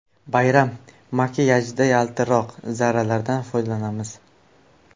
Bayram makiyajida yaltiroq zarralardan foydalanamiz.